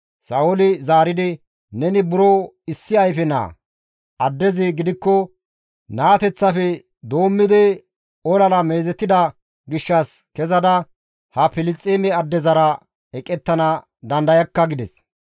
Sa7ooli zaaridi, «Neni buro issi ayfe naa; addezi gidikko naateteththafe doommidi olara meezetida gishshas kezada ha Filisxeeme addezara eqettana dandayakka» gides.